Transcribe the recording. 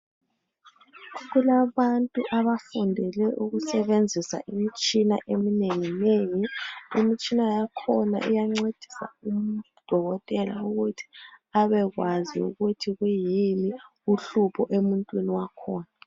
Kulabantu abafundele ukusebenzisa imitshina eminengi nengi imitshina yakhona iyancedisa udokotela ukuthi abekwazi ukuthi kuyini uhlupho emuntwini wakhona.